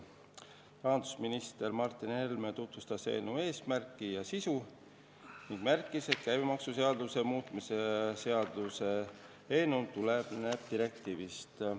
Rahandusminister Martin Helme tutvustas eelnõu eesmärki ja sisu ning märkis, et käibemaksuseaduse muutmise seaduse eelnõu tuleneb direktiivist.